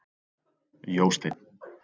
Jósteinn